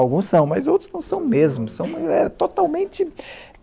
Alguns são, mas outros não são mesmo.